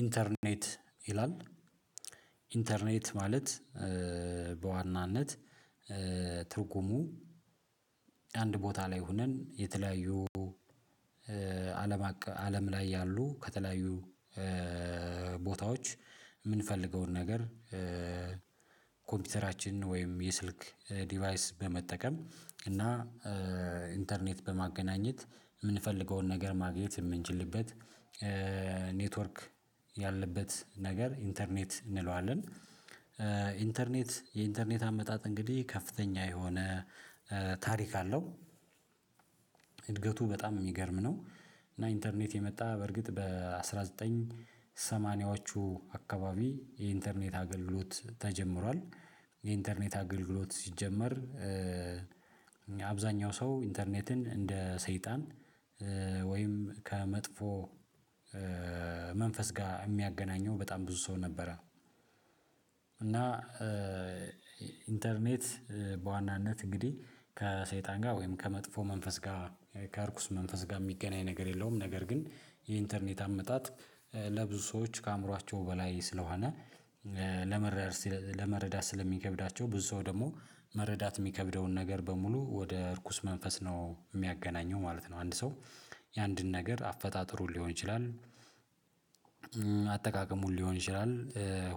ኢንተርኔት ይላል ኢንተርኔት ማለት በዋናነት ትርጉሙ አንድ ቦታ ላይ ሆነን የተለያዩ አለም አለም ላይ ያሉ ከተለያዩ ቦታዎች የምንፈልገውን ነገር። ኮምፒውተራችን ወይም የስልክ ዲቫይስ በመጠቀም እና ኢንተርኔት በማገናኘት የምንፈልገውን ነገር ማግኘት የምንችልበት ኔትወርክ ያለበት ነገር ኢንተርኔት እንለዋለን። ኢንተርኔት የኢንተርኔት አመጣጥ እንግዲህ ከፍተኛ የሆነ ታሪክ አለው። እድገቱ በጣም የሚገርም ነው። እና ኢንተርኔት የመጣ በርግጥ በአስራ ዘጠኝ ሰማኒያዎቹ አካባቢ የኢንተርኔት አገልግሎት ተጀምሯል። የኢንተርኔት አገልግሎት ሲጀመር አብዛኛው ሰው ኢንተርኔትን እንደ ሰይጣን ወይም ከመጥፎ መንፈስ ጋር የሚያገናኘው በጣም ብዙ ሰው ነበረ። እና ኢንተርኔት በዋናነት እንግዲህ ከሰይጣን ጋር ወይም ከመጥፎ መንፈስ ጋር ከእርኩስ መንፈስ ጋር የሚገናኝ ነገር የለውም። ነገር ግን የኢንተርኔት አመጣጥ ለብዙ ሰዎች ከአእምሮአቸው በላይ ስለሆነ። ለመረዳት ስለሚከብዳቸው ብዙ ሰው ደግሞ መረዳት የሚከብደውን ነገር በሙሉ ወደ እርኩስ መንፈስ ነው የሚያገናኘው ማለት ነው። አንድ ሰው የአንድን ነገር አፈጣጥሩ ሊሆን ይችላል። አጠቃቀሙን ሊሆን ይችላል።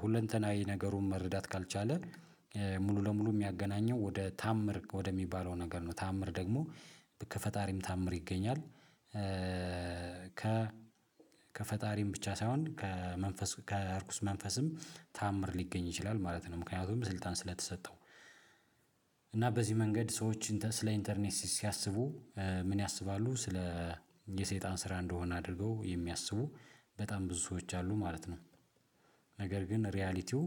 ሁለንተናዊ ነገሩን መረዳት ካልቻለ ሙሉ ለሙሉ የሚያገናኘው ወደ ተአምር ወደሚባለው ነገር ነው ተአምር ደግሞ ከፈጣሪም ተአምር ይገኛል። ከ ከፈጣሪም ብቻ ሳይሆን ከመንፈስ ከእርኩስ መንፈስም ተአምር ሊገኝ ይችላል ማለት ነው። ምክንያቱም ስልጣን ስለተሰጠው። እና በዚህ መንገድ ሰዎች ስለ ኢንተርኔት ሲያስቡ ምን ያስባሉ ስለ የሰይጣን ስራ እንደሆነ አድርገው የሚያስቡ በጣም ብዙ ሰዎች አሉ ማለት ነው። ነገር ግን ሪያሊቲው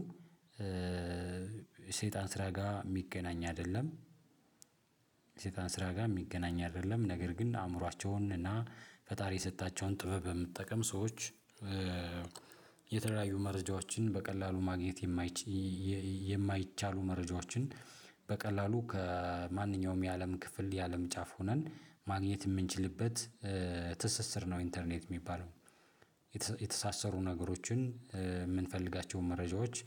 ሰይጣን ስራ ጋር የሚገናኝ አይደለም። ሰይጣን ስራ ጋር የሚገናኝ አይደለም። ነገር ግን አእምሯቸውን እና ፈጣሪ የሰጣቸውን ጥበብ የመጠቀም ሰዎች የተለያዩ መረጃዎችን በቀላሉ ማግኘት። የማይቻሉ መረጃዎችን በቀላሉ ከማንኛውም የአለም ክፍል የአለም ጫፍ ሆነን ማግኘት የምንችልበት ትስስር ነው ኢንተርኔት የሚባለው። የተሳሰሩ ነገሮችን የምንፈልጋቸውን መረጃዎች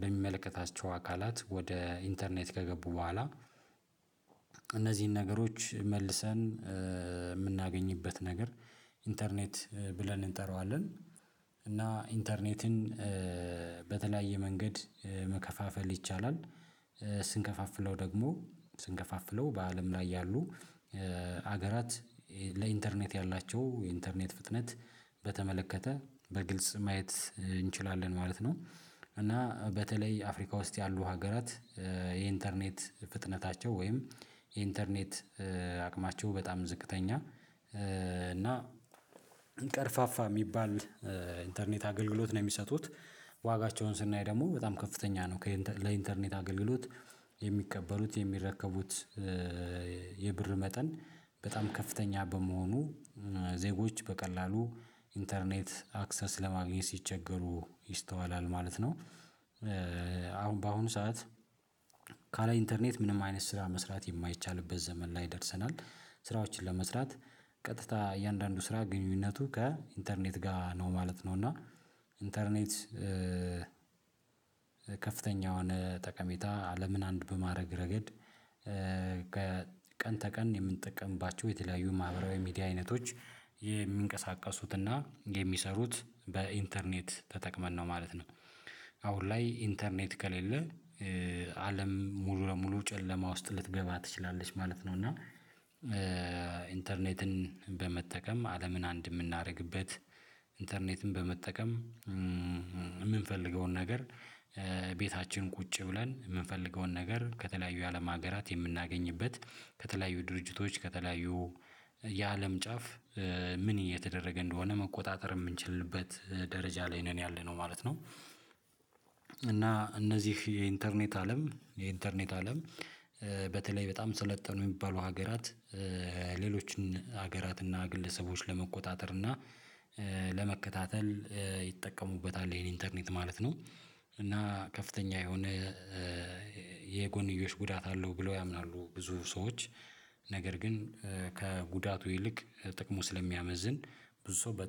በሚመለከታቸው አካላት ወደ ኢንተርኔት ከገቡ በኋላ እነዚህን ነገሮች መልሰን የምናገኝበት ነገር ኢንተርኔት ብለን እንጠራዋለን። እና ኢንተርኔትን በተለያየ መንገድ መከፋፈል ይቻላል። ስንከፋፍለው ደግሞ ስንከፋፍለው በአለም ላይ ያሉ ሀገራት ለኢንተርኔት ያላቸው የኢንተርኔት ፍጥነት በተመለከተ በግልጽ ማየት እንችላለን ማለት ነው። እና በተለይ አፍሪካ ውስጥ ያሉ ሀገራት የኢንተርኔት ፍጥነታቸው ወይም የኢንተርኔት አቅማቸው በጣም ዝቅተኛ እና ቀርፋፋ የሚባል ኢንተርኔት አገልግሎት ነው የሚሰጡት። ዋጋቸውን ስናይ ደግሞ በጣም ከፍተኛ ነው ለኢንተርኔት አገልግሎት የሚቀበሉት የሚረከቡት የብር መጠን በጣም ከፍተኛ በመሆኑ ዜጎች በቀላሉ ኢንተርኔት አክሰስ ለማግኘት ሲቸገሩ ይስተዋላል ማለት ነው። በአሁኑ ሰዓት ካለ ኢንተርኔት ምንም አይነት ስራ መስራት የማይቻልበት ዘመን ላይ ደርሰናል። ስራዎችን ለመስራት ቀጥታ እያንዳንዱ ስራ ግንኙነቱ ከኢንተርኔት ጋር ነው ማለት ነው እና። ኢንተርኔት ከፍተኛውን የሆነ ጠቀሜታ አለምን አንድ በማድረግ ረገድ ቀን ተቀን የምንጠቀምባቸው የተለያዩ ማህበራዊ ሚዲያ አይነቶች የሚንቀሳቀሱትና የሚሰሩት በኢንተርኔት ተጠቅመን ነው ማለት ነው። አሁን ላይ ኢንተርኔት ከሌለ አለም ሙሉ ለሙሉ ጨለማ ውስጥ ልትገባ ትችላለች ማለት ነው። እና ኢንተርኔትን በመጠቀም አለምን አንድ የምናደርግበት ኢንተርኔትን በመጠቀም የምንፈልገውን ነገር ቤታችን ቁጭ ብለን የምንፈልገውን ነገር ከተለያዩ የአለም ሀገራት የምናገኝበት ከተለያዩ ድርጅቶች ከተለያዩ የአለም ጫፍ ምን እየተደረገ እንደሆነ መቆጣጠር የምንችልበት ደረጃ ላይ ነን ያለነው ማለት ነው። እና እነዚህ የኢንተርኔት አለም የኢንተርኔት አለም በተለይ በጣም ሰለጠኑ የሚባሉ ሀገራት ሌሎችን ሀገራት ግለሰቦች ለመቆጣጠር እና ለመከታተል ይጠቀሙበታል ይሄን ኢንተርኔት ማለት ነው። እና ከፍተኛ የሆነ የጎን ጉዳት አለው ብለው ያምናሉ ብዙ ሰዎች። ነገር ግን ከጉዳቱ ይልቅ ጥቅሙ ስለሚያመዝን ብዙ ሰው በ